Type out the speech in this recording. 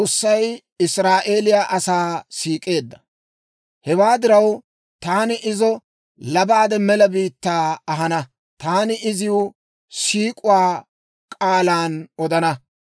«Hewaa diraw, taani izo labaade mela biittaa ahana; taani iziw siik'uwaa k'aalan odana.